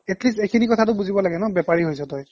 at least এইখিনি কথাটো বুজি পাব লাগে না বেপাৰী হৈছ তই